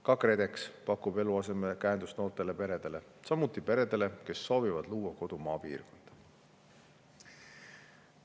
Ka KredEx pakub eluasemekäendust noortele peredele, samuti peredele, kes soovivad luua kodu maapiirkonda.